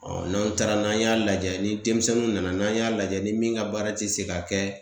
n'an taara n'an y'a lajɛ ni denmisɛnninw nana n'an y'a lajɛ ni min ka baara ti se ka kɛ